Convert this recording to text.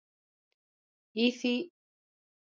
Og því í ósköpunum gat hann ekki verið í Brautarholti?